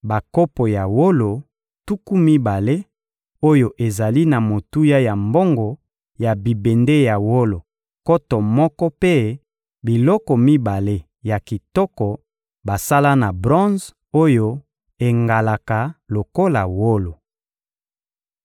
bakopo ya wolo tuku mibale oyo ezali na motuya ya mbongo ya bibende ya wolo nkoto moko mpe biloko mibale ya kitoko basala na bronze oyo engalaka lokola wolo.